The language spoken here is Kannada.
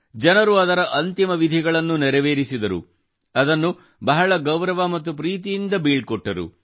ಜನರು ಅದರ ಅಂತಿಮ ವಿಧಿಗಳನ್ನು ನೆರವೇರಿಸಿದರು ಅದನ್ನು ಬಹಳ ಗೌರವ ಮತ್ತು ಪ್ರೀತಿಯಿಂದ ಬೀಳ್ಕೊಟ್ಟರು